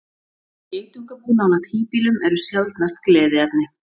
Geitungabú nálægt híbýlum eru sjaldnast gleðiefni.